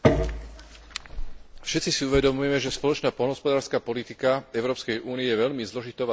Všetci si uvedomujeme, že spoločná poľnohospodárska politika Európskej únie je veľmi zložitou a citlivou problematikou.